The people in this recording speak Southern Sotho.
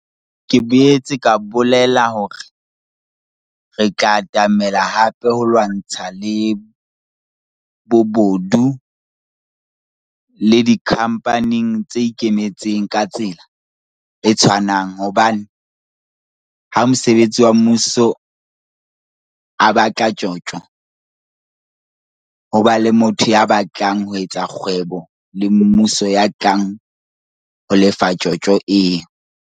Ke boetse ka bolela hore re tla tlameha hape ho lwantsha le bobodu le dikhampaneng tse ikemetseng ka tsela e tshwanang hobane ha mosebeletsi wa mmuso a batla tjotjo, ho ba le motho ya batlang ho etsa kgwebo le mmuso ya tlang ho lefa tjotjo eo.